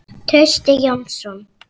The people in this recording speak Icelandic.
Trausti Jónsson